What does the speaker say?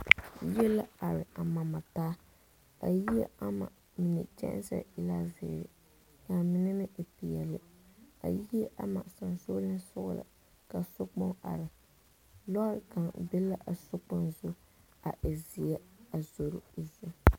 Yie la are a mare mare taa a yie ama mine kyɛnse e la zeere ka a mini meŋ e peɛle a yie ama sensɔglensoga ka sokpoŋ are loori kaŋa be la a sokpoŋ zu a e zee a zoro o zu.